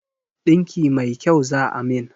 Ɗinki mai kyau za a min